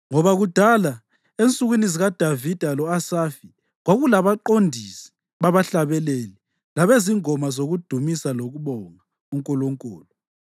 Ngoba kudala, ensukwini zikaDavida lo-Asafi, kwakulabaqondisi babahlabeleli labezingoma zokudumisa lokubonga uNkulunkulu.